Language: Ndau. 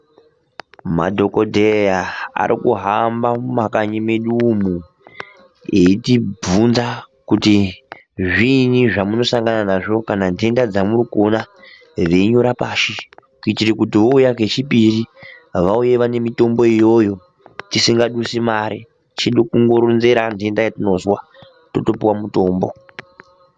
Madhokodheya arikuhamba mumakanyi mwedu umu eiyitibvunza kuti zviinyi zvamunosanga nazvo kana nhenda dzamurikuona veinyora pashi kuitire kuti vouya kechipiri vauye vane mitombo iyoyo tisingadusi mare chedu kundoronzera nhenda yatinozwa totopuwa mutombo.